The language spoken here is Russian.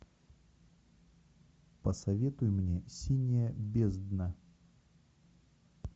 посоветуй мне синяя бездна